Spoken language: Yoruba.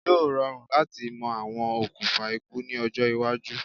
Yóò rọrùn láti mọ àwọn okùfà ikú ní ọjọ́-iwájú.